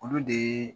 Olu de